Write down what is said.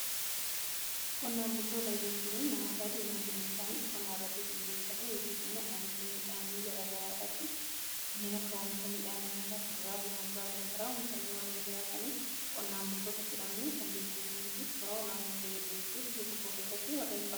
Qonnaan bultoota jechuun namoota diinagdeen isaanii qonnaa irratti xiyyeeffate yookiis immoo oomisha midhaanii gargaraarratti kanneen akka oomisha midhaan nyaata kuduraa fi muduraa garagaraa oomishanii warreen jiraatanii qonnaan bultoota jedhamani kan beekamanii fi shoora olaanaa ga'ee diinagdee biyya tokko keessatti qabu.